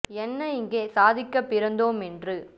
என்னயிங்கே சாதிக்கப் பிறந்தோ மென்றே